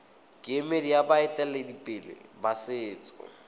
kemedi ya baeteledipele ba setso